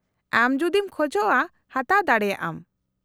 -ᱟᱢ ᱡᱩᱫᱤᱢ ᱠᱷᱚᱡᱽᱼᱟ ᱦᱟᱛᱟᱣ ᱫᱟᱲᱮᱭᱟᱜᱼᱟᱢ ᱾